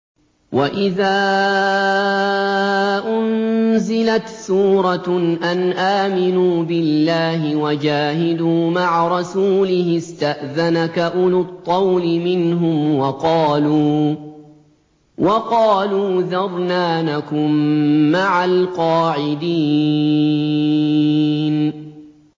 وَإِذَا أُنزِلَتْ سُورَةٌ أَنْ آمِنُوا بِاللَّهِ وَجَاهِدُوا مَعَ رَسُولِهِ اسْتَأْذَنَكَ أُولُو الطَّوْلِ مِنْهُمْ وَقَالُوا ذَرْنَا نَكُن مَّعَ الْقَاعِدِينَ